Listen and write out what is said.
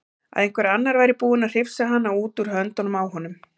Að einhver annar væri búinn að hrifsa hana út úr höndunum á honum.